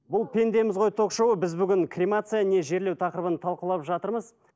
бұл пендеміз ғой ток шоуы біз бүгін кремация не жерлеу тақырыбын талқылап жатырмыз